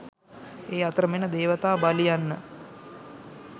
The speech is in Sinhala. ඒ අතරම එන දේවතා බලි යන්න